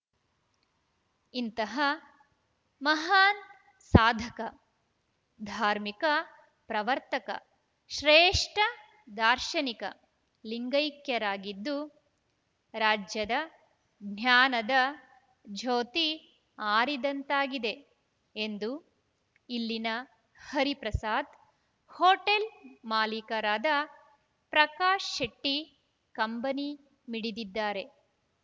ಇಂತಹ ಮಹಾನ್‌ ಸಾಧಕ ಧಾರ್ಮಿಕ ಪ್ರವರ್ತಕ ಶ್ರೇಷ್ಠ ದಾರ್ಶನಿಕ ಲಿಂಗೈಕ್ಯರಾಗಿದ್ದು ರಾಜ್ಯದ ಜ್ಞಾನದ ಜ್ಯೋತಿ ಆರಿದಂತಾಗಿದೆ ಎಂದು ಇಲ್ಲಿನ ಹರಿಪ್ರಸಾದ್‌ ಹೋಟೆಲ್‌ ಮಾಲೀಕರಾದ ಪ್ರಕಾಶ್‌ಶೆಟ್ಟಿಕಂಬನಿ ಮಿಡಿದಿದ್ದಾರೆ